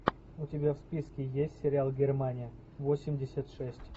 у тебя в списке есть сериал германия восемьдесят шесть